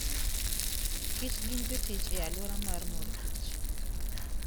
kich gin jotich e aluora mar morkich